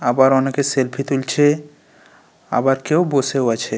আবার অনেকে সেলফি তুলছে আবার কেউ বসেও আছে।